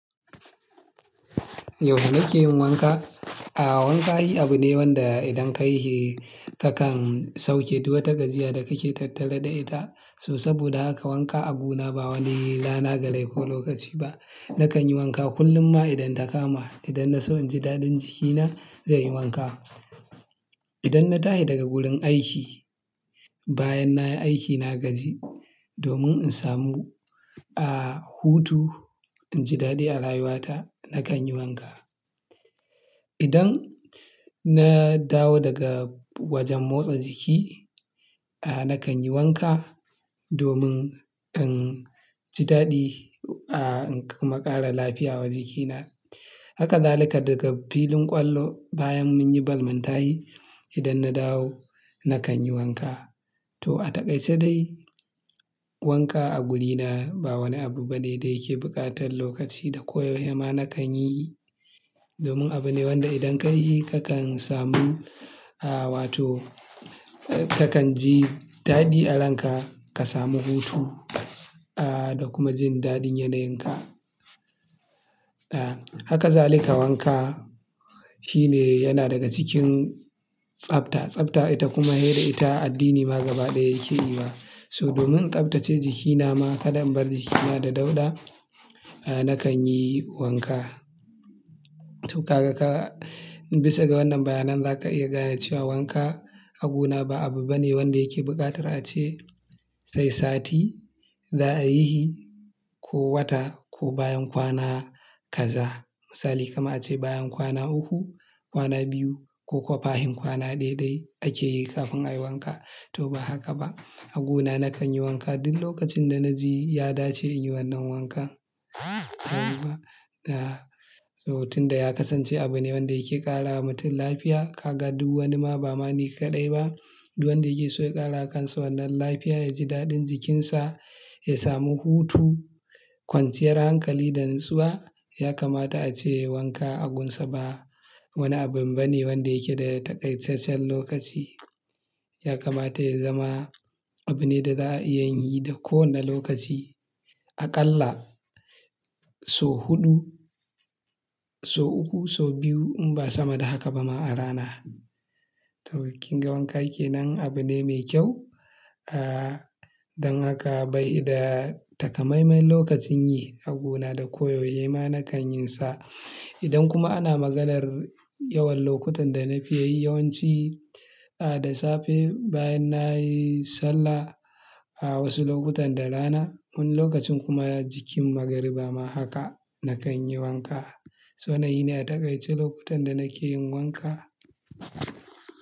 Yau nake yin wanka. A'a wanka yi abu ne wanda idan ka yi shi kakan sauke duwatsun gajiyar da kake tattare da ita. So saboda haka wanka aguna ba wani rana galai ko lokaci ba. Nakan yi wanka kullum ma idan ta kama. Idan na so in ji daɗin jikina, zan yi wanka. Idan na tashi daga wurin aiki, bayan na yi aiki na gaji domin in samu, ah, hutu, in ji daɗi a rayuwata, nakan yi wanka. Idan na dawo daga wajen motsa jiki, ah, nakan yi wanka domin in ji daɗi, ah, in kuma ƙara lafiya wa jikina. Haka zalika daga filin ƙwallo bayan mun yi balmantaye, idan na dawo nakan yi wanka. To a takaice dai wanka a guri na ba wani abu bane da yake buƙatar lokaci da koyewa ma nakan yi. Domin abu ne wanda idan ka yi shi kakan samu, ah, wato kakan ji daɗi a ranka ka samu hutu, da kuma jin daɗin yanayin ka. Haka zalika wanka shine yana daga cikin tsafta, tsafta ita kuma dai da ita addini ma gaba ɗaya yake yiwa. So domin in tsaftace jikina ma, kada in bar jikina da dauɗa, nakan yi wanka. To ka ga ka-- bisa ga wannan bayanan za ka iya gane cewa wanka aguna ba abu bane wanda yake buƙatar ace sai sati za a yi shi ko wata ko bayan kwana kaza. Misali kamar ace bayan kwana uku, kwana biyu ko kwafa hin kwana ɗaiɗai ake yi kafin a yi wanka. To ba haka ba. Aguna nakan yi wanka duk lokacin da na ji ya dace in yi wannan wanka. Da, so hoton da ya kasance abu ne wanda yake ƙara wa mutum lafiya. Ka ga duk wani ma ba mani kaɗai ba, duk wanda yake so ya ƙara kansa wannan lafiya ya ji daɗin jikinsa, ya samu hutu, kwanciyar hankali da natsuwa yakamata a ce wanka agunsa ba wani abu bane wanda yake da takaisasshen lokaci. Yakamata ya zama abu ne da za'a iya yin yi da kowane lokaci aƙalla so huɗu, so uku, so biyu in ba sama da haka ba ma a rana. To kin ga wanka yake nan abu ne mai kyau, ah, don haka bai da takamaiman lokacin yi aguna da koyaushema nakan yin sa. Idan kuma ana maganar yawan lokutan da na fi yi, yawanci, da safe bayan na yi sallah, wasu lokutan da rana. Wani lokacin kuma jikin magariba ma haka nakan yi wanka. Waɗannan ne a takaice lokutan da nake yin wanka.